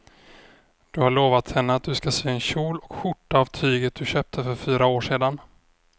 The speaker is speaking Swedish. Du har lovat henne att du ska sy en kjol och skjorta av tyget du köpte för fyra år sedan.